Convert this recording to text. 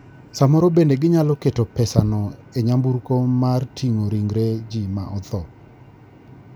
Samoro bende ginyalo keto pesano e nyamburko mar ting'o ringre ji ma otho.